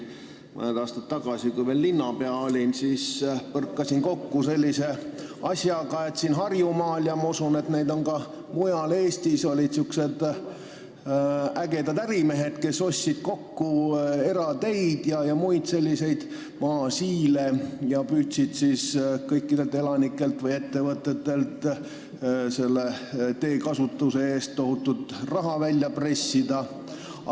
Mõned aastad tagasi, kui ma olin veel linnapea, põrkasin kokku sellise asjaga, et siin Harjumaal – ja ma usun, et ka mujal Eestis – olid sihukesed ägedad ärimehed, kes ostsid kokku erateid ja muid selliseid maasiile ning püüdsid siis elanikelt või ettevõtetelt teekasutuse eest tohutult raha välja pressida.